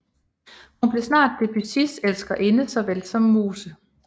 Hun blev snart Debussys elskerinde såvel som muse